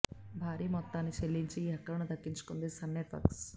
భారీ మొత్తాన్ని చెల్లించి ఈ హక్కులను దక్కించుకుంది సన్ నెట్ వర్క్